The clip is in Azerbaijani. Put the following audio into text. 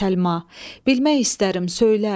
Səlma, bilmək istərəm, söylə.